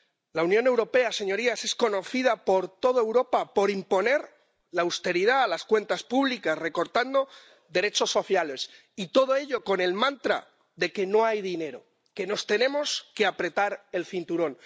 La Unión Europea, señorías, es conocida por toda Europa por imponer la austeridad a las cuentas públicas, recortando derechos sociales, y todo ello con el mantra de que no hay dinero, de que nos tenemos que apretar el cinturón.